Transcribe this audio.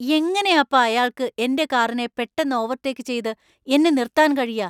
എങ്ങനെയാപ്പാ അയാൾക്ക് എന്‍റെ കാറിനെ പെട്ടെന്ന് ഓവർടേക്ക് ചെയ്ത് എന്നെ നിര്‍ത്താന്‍ കഴിയാ?